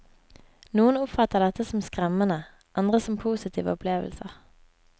Noen oppfatter dette som skremmende, andre som positive opplevelser.